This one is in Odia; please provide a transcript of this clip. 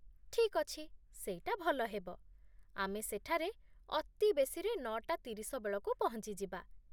ଠିକ୍ ଅଛି, ସେଇଟା ଭଲ ହେବ, ଆମେ ସେଠାରେ ଅତିବେଶୀରେ ନଅ ଟା ତିରିଶ ବେଳକୁ ପହଞ୍ଚିଯିବା।